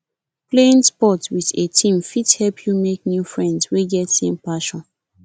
playing sports with a team fit help you make new friends wey get same passion